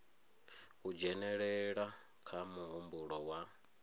u dzhenelela kha muhumbulo wa